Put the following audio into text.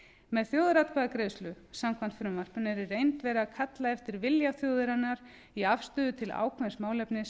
með þjóðaratkvæðagreiðslu samkvæmt frumvarpinu er í reynd verið að kalla eftir vilja þjóðarinnar í afstöðu til ákveðins málefnis